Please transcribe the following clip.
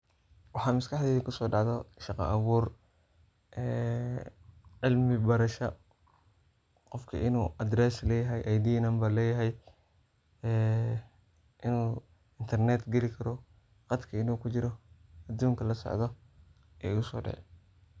Waxa mas kaxdeyda kuso dacda shaqo abur, ee cilmi barasha qoofku inu address leyahay Id number le yahy inu internet gali karo, qadka inu kujiro, adunka lasocdo aya igusodici .